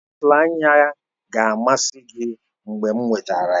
Pensụl anya ga-amasị gị mgbe m wetara ha